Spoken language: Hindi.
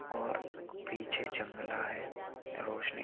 और पीछे जंगला है रोशनी --